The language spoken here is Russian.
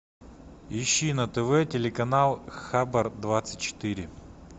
ищи на тв телеканал хабар двадцать четыре